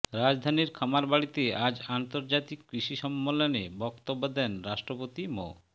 রাজধানীর খামারবাড়িতে আজ আন্তর্জাতিক কৃষি সম্মেলনে বক্তব্য দেন রাষ্ট্রপতি মো